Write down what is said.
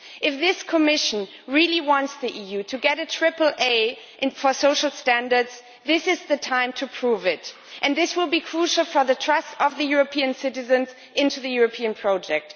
If this Commission really wants the EU to get a triple A for social standards, this is the time to prove it. And this will be crucial for the trust of the European citizens in the European project.